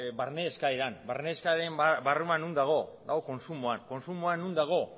barne eskaeran barne eskaeraren barruan non dago dago kontsumoan kontsumoa non dago